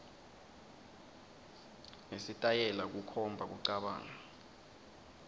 nesitayela kukhomba kucabanga